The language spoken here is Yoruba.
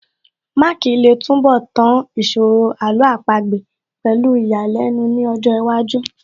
Mark lè túnbọ̀ tán ìṣòro Àlọ́ àpagbè pẹ̀lú ìyàlẹ́nu ní ọjọ́ iwájú